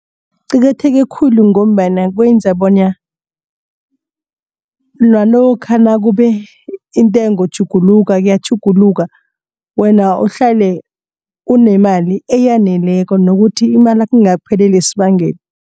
Kuqakatheke khulu ngombana kwenza bona nalokha nakube intengo tjhuguluka iyatjhuguluka wena uhlale unemali eyaneleko nokuthi imalakho ingakupheleli esibangeni.